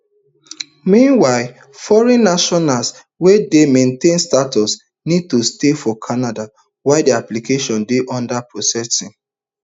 meanwhile foreign nationals wey dey maintained status need to stay for canada while dia application dey under processing